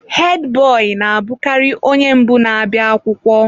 Hedi boyi na-abụkarị onye mbụ na-abịa akwụkwọ.